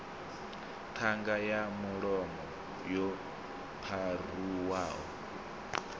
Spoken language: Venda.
ṱhanga ya mulomo yo pharuwaho